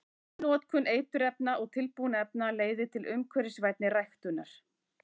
Minni notkun eiturefna og tilbúinna efna leiðir til umhverfisvænni ræktunar.